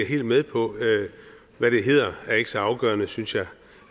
helt med på hvad det hedder er ikke så afgørende synes jeg